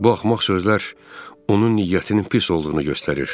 Bu axmaq sözlər onun niyyətinin pis olduğunu göstərir.